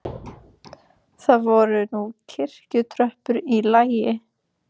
Það voru nú kirkjutröppur í lagi.